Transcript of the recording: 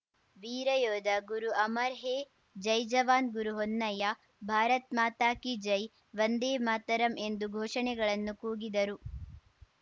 ವೀರಯೋಧ ಗುರು ಅಮರ್‌ ಹೇ ಜೈ ಜವಾನ್‌ ಗುರು ಹೊನ್ನಯ್ಯ ಭಾರತ್‌ ಮಾತಾಕಿ ಜೈ ವಂದೇ ಮಾತರಂ ಎಂದು ಘೋಷಣೆಗಳನ್ನು ಕೂಗಿದರು